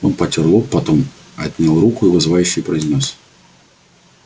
он потёр лоб потом отнял руку и вызывающе произнёс